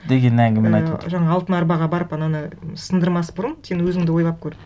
деген әңгімені айтып отыр і жаңағы алтын арбаға барып ананы сындырмас бұрын сен өзіңді ойлап көр